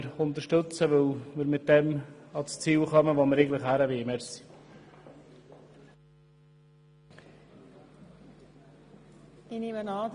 Damit kommen wir ans Ziel und dorthin, wo wir eigentlich hin wollen.